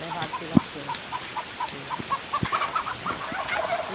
Levado pela Xés.